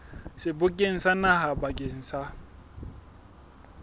sebokeng sa naha bakeng sa